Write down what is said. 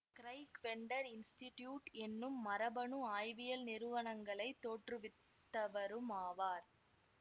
Craig Venter institute என்னும் மரபணு ஆய்வியல் நிறுவனங்களை தோற்றுவித்தவருமாவார்